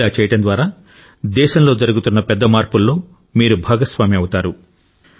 ఇలా చేయడం ద్వారా దేశంలో జరుగుతున్న పెద్ద మార్పుల్లో మీరు భాగస్వామి అవుతారు